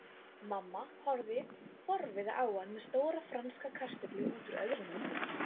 Mamma horfði forviða á hann með stóra franska kartöflu útúr öðru munnvikinu.